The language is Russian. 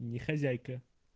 не хозяйка